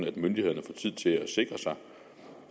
at myndighederne får tid til at sikre sig